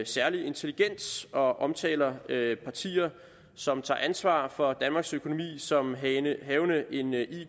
særligt intelligent og omtaler partier som tager ansvar for danmarks økonomi som havende